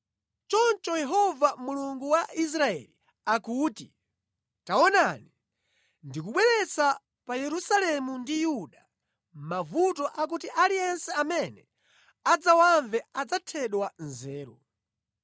Choncho Yehova Mulungu wa Israeli akuti, ‘Taonani, ndikubweretsa pa Yerusalemu ndi Yuda mavuto akuti aliyense amene adzawamve adzathedwa nzeru.